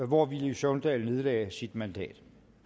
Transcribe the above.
hvor villy søvndal nedlagde sit mandat